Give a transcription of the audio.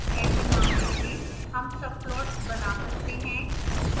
ऐसे मामलों में हम subplots बना सकते हैं